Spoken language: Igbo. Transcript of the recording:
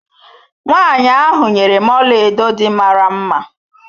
Nwanyi ahụ nyere m ọlaedo dị mara mma.